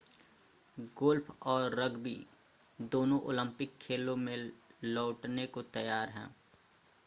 golf और rugby दोनों Olympic खेलों में लौटने को तैयार हैं